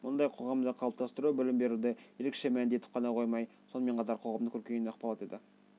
мұндай қоғамды қалыптастыру білім беруді ерекше мәнді етіп ғана қоймай сонымен қатар қоғамның көркеюіне ықпал етеді